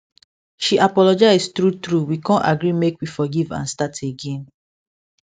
she apologize true true we con agree make we forgive and start again